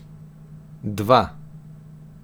Dva.